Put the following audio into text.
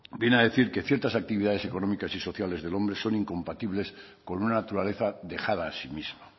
viene a decir que ciertas actividades económicas y sociales del hombre son incompatibles con una naturaleza dejada a sí mismo